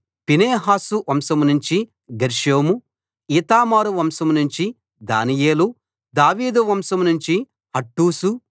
Phinehas వంశంనుంచి గెర్షోము ఈతామారు వంశం నుంచి దానియేలు దావీదు వంశం నుంచి హట్టూషు